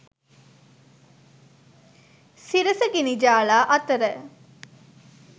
සිරස ගිනිජාලා අතර